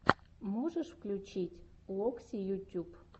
можешь включить локси ютюб